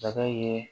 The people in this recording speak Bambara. Saga yeee